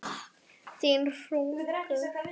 Þín Hugrún.